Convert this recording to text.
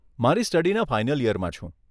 મારી સ્ટડીના ફાઇનલ ઈયરમાં છું.